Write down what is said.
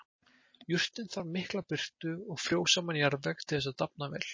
Jurtin þarf mikla birtu og frjósaman jarðveg til þess að dafna vel.